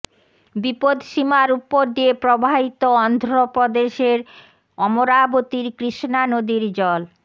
বিপদসীমার ওপর দিয়ে প্রবাহিত অন্ধপ্রদেশের অমরাবতীর কৃষ্ণা নদীর জল